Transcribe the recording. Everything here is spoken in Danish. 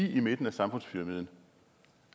lige i midten af samfundspyramiden